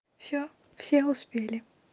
все все успели